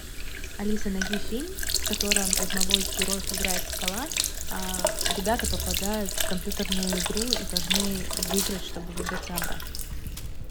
алиса найди фильм в котором одного из героев играет скала а ребята попадают в компьютерную игру и должны выиграть чтобы выбраться обратно